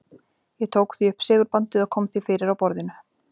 Ég tók því upp segulbandið og kom því fyrir á borðinu.